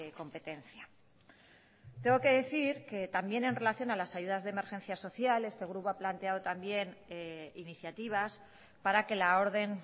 competencia tengo que decir que también en relación a las ayudas de emergencia social este grupo ha planteado también iniciativas para que la orden